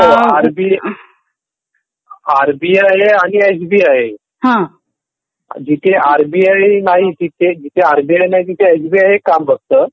RB RBI आणि SBI जिथे RBI नाही तिथे जिथे आरबीआय नाही तिथे एसबीआय हे काम बघत.